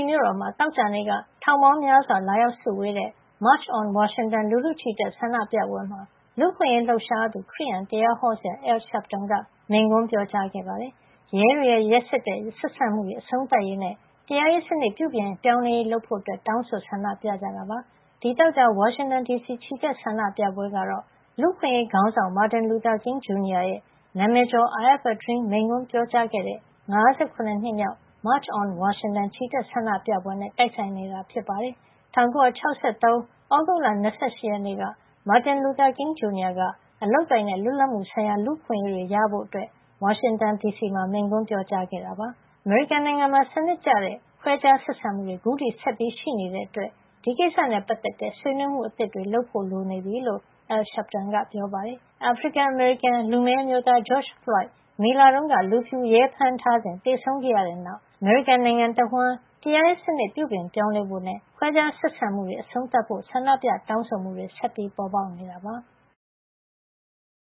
မြို့တော်မှာ သောကြာနေ့က ထောင်ပေါင်းများစွာ လာရောက် စုဝေးတဲ့ March on Washington လူထုချီတက်ဆန္ဒပြပွဲမှာ လူ့အခွင့်ရေးလှုပ်ရှားသူ ခရစ်ယာန် သင်းအုပ်ဆရာAl Sharpton က မိန့်ခွန်းပြောခဲ့ပါတယ်။ ရဲတွေရဲ့ ရက်စက်တဲ့ ဆက်ဆံမှုတွေ အဆုံးသတ်ရေးနဲ့ တရားရေးစနစ် ပြုပြင်ပြောင်းလဲရေး လုပ်ဖို့ တောင်းဆိုဆန္ဒပြကြတာပါ။ ဒီသောကြာ ဝါရှင်တန် ဒီစီက ချီတက်ဆန္ဒပြပွဲ ကတော့ လူ့အခွင့်ရေးခေါင်းဆောင် Martin Luther King Jr. ရဲ့ နာမည်ကျော် I Have A Dream” မိန့်ခွန်းပြောကြားခဲ့တဲ့ ၅၇ နှစ်မြောက် March on Washington ချီတက်ဆန္ဒပြပွဲနဲ့ တိုက်ဆိုင်နေတာ ဖြစ်ပါတယ်။ ၁၉ ၆၃ ခုနှစ် သြဂုတ်လ ၂၈ ရက်နေ့က Martin Luther King Jr. က အလုပ်အကိုင်နဲ့ လွတ်လပ်မှု ဆိုင်ရာ လူ့အခွင့်ရေးတွေ ရဖို့ အတွက် ဝါရှင်တန်မှာ မိန့်ခွန်းပြောကြားခဲ့တာပါ။ အမေရိကန်နိုင်ငံမှာ စနစ်တကျ ခွဲခြားဆက်ဆံမှုတွေ အခုထိ ဆက်ရှိနေတဲ့အတွက် ဒီကိစ္စနဲ့ပတ်သက်တဲ့ ဆွေးနွေးမှုအသစ် တွေ လုပ်ဖို့ လိုနေပြီလို့ Al Sharpton ကပြောပါတယ်။ အာဖရိကန်အမေရိကန် လူမည်းအမျိုးသား George Floyd မေလတုန်းက လူဖြူရဲဖမ်းထားစဉ် သေဆုံးခဲ့ရတဲ့ နောက် အမေရိကန် နိုင်ငံ တဝှမ်း တရားရေးစနစ် ပြုပြင်ပြောင်းလဲဖို့နဲ့ ခွဲခြားဆက်ဆံမှုတွေ အဆုံးသတ်ဖို့ ဆန္ဒပြ တောင်းဆိုမှုတွေ ဆက်လက် ပေါ်ပေါက်နေတာပါ။